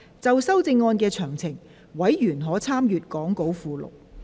就修正案詳情，委員可參閱講稿附錄。